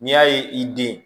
N'i y'a ye i den